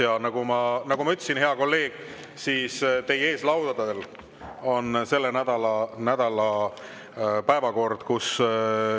Ja nagu ma ütlesin, hea kolleeg, teie ees laual on selle nädala päevakord.